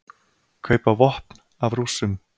Kaupa vopn af Rússum